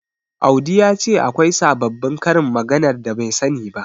Audi ya ce akwai sababbin karin maganar da bai sani ba.